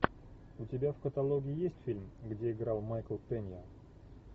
у тебя в каталоге есть фильм где играл майкл пенья